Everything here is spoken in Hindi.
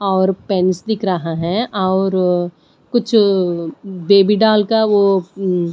और पेंस दिख रहा है और कुछ बेबी डॉल का वो म्म --